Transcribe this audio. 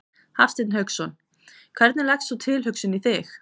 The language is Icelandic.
Hafsteinn Hauksson: Hvernig leggst sú tilhugsun í þig?